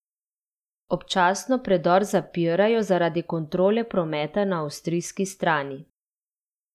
Občasno predor zapirajo zaradi kontrole prometa na avstrijski strani.